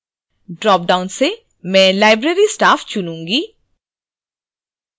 dropdown से मैं library staff चुनूँगी